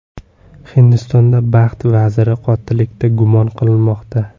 Hindistonda baxt vaziri qotillikda gumon qilinmoqda.